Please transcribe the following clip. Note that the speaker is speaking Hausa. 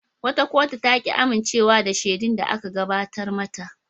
Wata kotu ta ki amincewa da shaidar da aka gabatar mata.